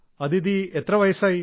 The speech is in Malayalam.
അദിതി എത്ര വയസ്സായി